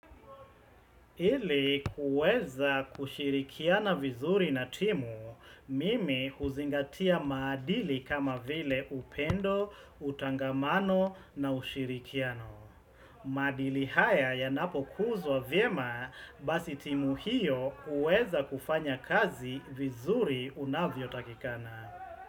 Ili kuweza kushirikiana vizuri na timu, mimi huzingatia maadili kama vile upendo, utangamano na ushirikiano. Maadili haya yanapokuzwa vyema basi timu hiyo huweza kufanya kazi vizuri unavyotakikana.